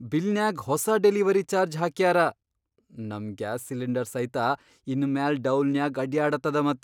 ಬಿಲ್ನ್ಯಾಗ್ ಹೊಸಾ delivery charge ಹಾಕ್ಯಾರ. ನಮ್ ಗ್ಯಾಸ್ ಸಿಲಿಂಡರ್ ಸೈತ ಇನ್ ಮ್ಯಾಲ್ ಡೌಲ್ನ್ಯಾಗ್ ಅಡ್ಯಾಡತದ ಮತ್!